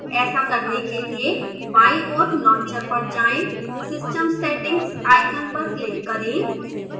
ऐसा करने के लिए बाईं ओर launcher पर जाएं system settings icon पर क्लिक करें